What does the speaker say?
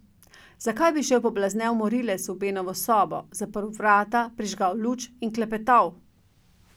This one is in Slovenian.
Zakaj bi šel poblaznel morilec v Benovo sobo, zaprl vrata, prižgal luč in klepetal?